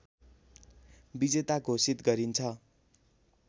विजेता घोषित गरिन्छ